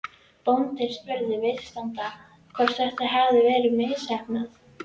Bóndinn spurði viðstadda hvort þetta hefði verið misheppnað.